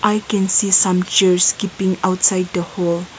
i can see some chairs keeping outside the hall.